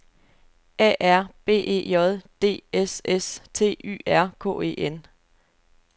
A R B E J D S S T Y R K E N